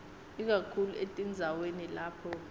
ikakhulu etindzaweni lapho